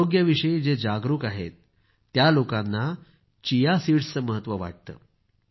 आरोग्याविषयी जे जागरूक आहेत त्या लोकांना चिया सीडचं महत्व वाटतं